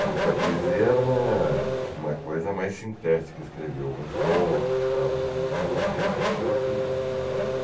Porque a poesia era uma uma coisa mais sintética, escrevia alguns contos tal, mas me interessei mais pela poesia.